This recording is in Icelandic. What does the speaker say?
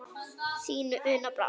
Þín, Una Brá.